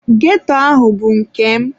Ghetto ahụ bụ nke m.